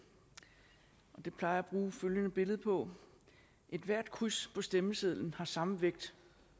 og det plejer jeg at bruge følgende billede på ethvert kryds på stemmesedlen har samme vægt